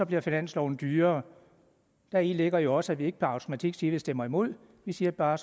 bliver finansloven dyrere heri ligger jo også at vi ikke per automatik siger at vi stemmer imod vi siger bare